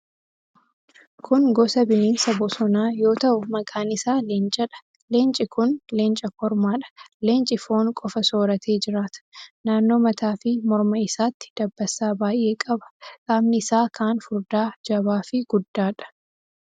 Kun gosa bineensa bosonaa yoo ta'u, maqaan isaa leencadha. Leenci kun leenca kormaadha. Leenci foon qofa sooratee jiraata. Naannoo mataa fi morma isaatti dabbasaa baay'ee qaba. Qaamni isaa kaan furdaa, jabaafi guddaadha.